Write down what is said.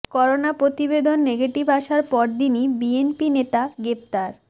corona প্রতিবেদন negative আসার পর দিনই বিএনপি নেতা গ্রেপ্তার